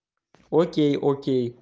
окей окей